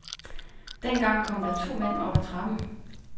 Dengang kom der to mænd op ad trappen.